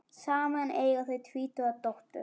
Saman eiga þau tvítuga dóttur.